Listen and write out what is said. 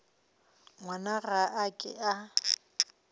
ngwana ga a ke a